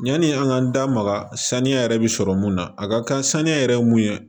Ɲani an k'an da maga saniya yɛrɛ bi sɔrɔ mun na a ka kan saniya yɛrɛ ye mun ye